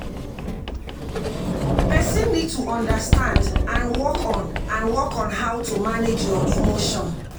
person need to understand and work on and work on how to manage your emotion